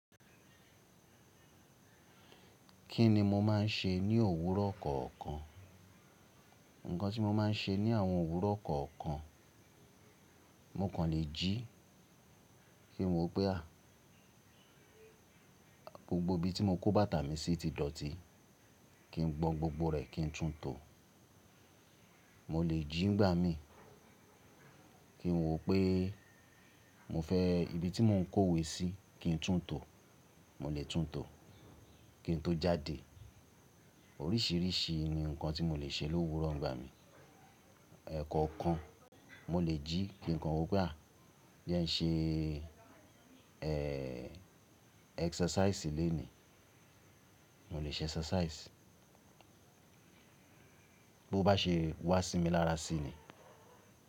Kí ni mo máa ń ṣe ní òwúrọ̀ kọ̀ọ̀kan? Ǹkan tí mo máa ń ṣe ní àwọn òwúrọ̀ kọ̀ọ̀kan, mo kàn le jí kí n wò pé à, gbogbo ibi tí mo kó bàtà mi sí ti dọ̀tí, kí n gbọn gbogbo rẹ̀ kí n tún tò. Mo le jí ń gbà mìí, kí n wò pé mo fẹ́ ibi tí mo ń kó ìwé sí kí n tún tò, mo le tún tò kí n tó jáde. Oríṣìíríṣìí ni nǹkan tí mo le ṣe lówúrọ̀ ǹ gbà mìí. Ẹ̀kọ kan mo le jí kí nǹkan wò pé à, jé ń ṣe ẹ́xẹrsáìsì lónìí, mo le ṣe ẹ́xẹrsáìsì bó bá ṣe wá sí mi lára sí ni.